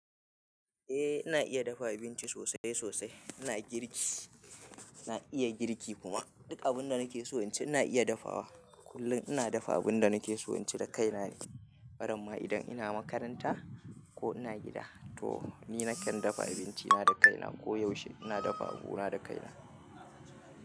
Eh ina iya dafa abinci sosai sosai. Ina girki, ina iya girki kuma duk abun da nake so inci ina iya dafawa. Kullun ina dafa abun da nake so inci da kaina ne. Wataran ma idan ina makaranta ko ina gida toh ni nakan dafa abinci na da kaina koyaushe ina dafa abuna da kaina.